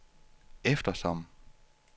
eftersom